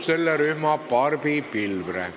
Kohaloleku kontroll, palun!